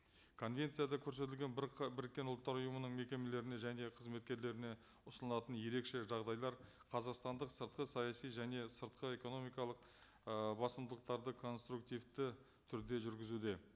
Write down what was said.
конвенцияда көрсетілген бір біріккен ұлттар ұйымының мекемелеріне және қызметкерлеріне ұсынылатын ерекше жағдайлар қазақстандық сыртқы саяси және сыртқы экономикалық ы басымдылықтарды конструктивті түрде жүргізуде